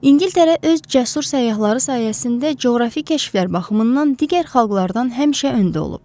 İngiltərə öz cəsur səyyahları sayəsində coğrafi kəşflər baxımından digər xalqlardan həmişə öndə olub.